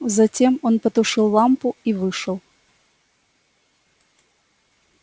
затем он потушил лампу и вышел